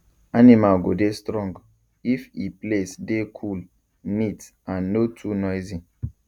animal go dey strong if e place dey cool neat and no too noisy